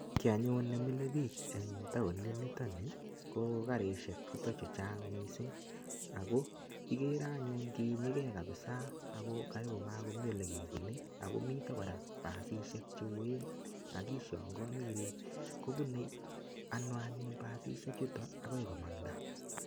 Kiy anyun nemile biich eng taonit nitok ni ko karisiek chuton chuchang mising ago igere anyun kiinyege kapisa ago kagomagomi olegebunei ago miten kora pasisiek che oen ak ishangaani ile kobune ano anyun pasisiechuto agoi komanda.